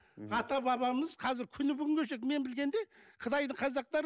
ата бабамыз қазір күні бүгінге шейін мен білгенде қытайдың қазақтары